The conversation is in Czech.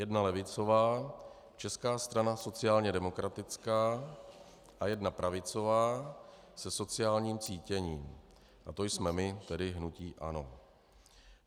Jedna levicová, Česká strana sociálně demokratická, a jedna pravicová se sociálním cítěním -a to jsme my, tedy hnutí ANO.